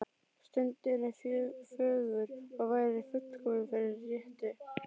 Stundin er fögur og væri fullkomin fyrir rettu.